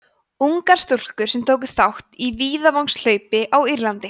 ungar stúlkur sem tóku þátt í víðavangshlaupi á írlandi